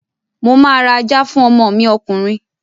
Mo máa ra ajá fún ọmọ mi ọkùnrin